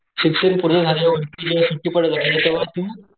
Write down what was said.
शिक्षण पूर्ण झल्या वरतेव्हा तू